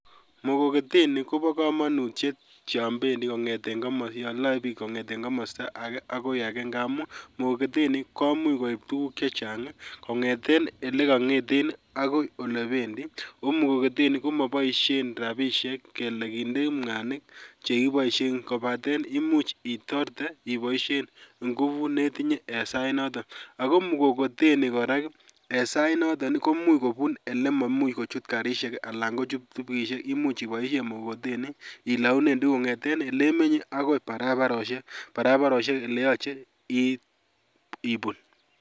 Mkokoteni kobo komonutiet yon bendi kong'eten komosi yoloe biik kong'eten komosta ake ngamun mkokoteni komuch koip tukuk chechang kong'eten olekong'eten akoi olekowendi ako mkokoteni komoboisien rapishek kele kindeen mwanik cheboisien kobaten iboisien ngubut netinye en sai noton, ako mkokoteni kora en sainoto komuch kobun olemuch karisiek alan kojut pikipikishek imuch iboisien mkokoteni ilounen tukuk kong'eten olemenye akoi barabarosiek, barabarosiek eleyoche ibun.